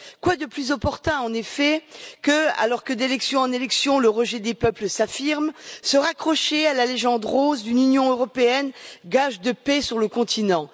Quoi de plus opportun, en effet, alors que d'élection en élection, le rejet des peuples s'affirme, que de se raccrocher à la légende rose d'une Union européenne gage de paix sur le continent.